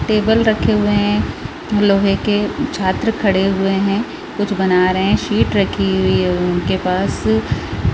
table रखे हुए है लोहे के छात्र खड़े हुए है कुछ बना रहे है शीट रखी हुई है उनके पास--